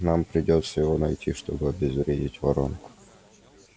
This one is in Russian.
нам придётся его найти чтобы обезвредить воронку